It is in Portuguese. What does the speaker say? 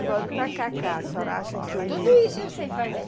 Agora o tacacá, a senhora acha que ele... Tudo isso eu sei fazer.